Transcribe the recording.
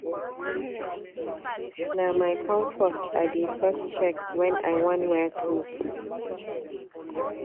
Na my confort I dey first check when I wan wear cloth.